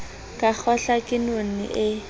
ka kgahlwa ke none e